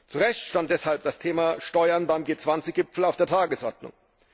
Zu Recht stand deshalb das Thema Steuern beim G20 Gipfel auf der Tagesordnung.